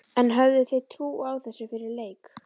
En höfðuð þið trú á þessu fyrir leik?